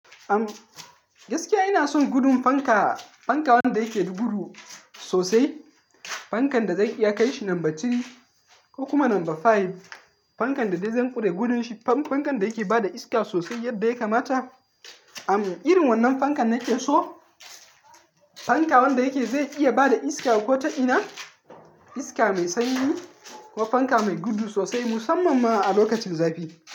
Am gaskiya ina son gudun fanka, fanka wanda yake da gudu sosai. Fankan da zan iya kai shi namba tiri ko kuma namba five. Fankan da dai zan ƙure gudun shi. Fan-fankan da yake bada iska sosai yadda ya kamata. Am irin wannan fankan nake so. Fanka wanda yake zai iya bada iska ko ta ina, iska mai sanyi ko fanka mai gudu sosai musamman ma a lokacin zafi.